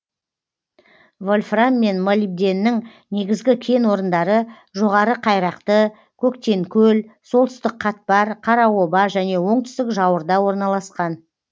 вольфрам мен молибденнің негізгі кен орындары жоғары қайрақты көктенкөл солтүстік қатпар қараоба және оңтүстік жауырда орналасқан